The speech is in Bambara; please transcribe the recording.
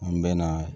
An bɛ na